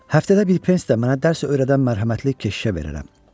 Həftədə bir prensi də mənə dərs öyrədən mərhəmətli keşişə verirəm.